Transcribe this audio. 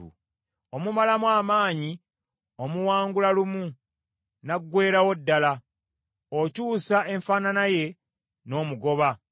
Omumalamu amaanyi omuwangula lumu n’aggweerawo ddala; okyusa enfaanana ye n’omugoba.